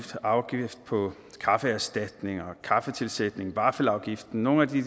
afgift på kaffeerstatninger og kaffetilsætning vaffelafgiften nogle af de